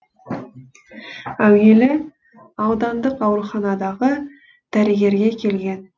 әуелі аудандық ауруханадағы дәрігерге келген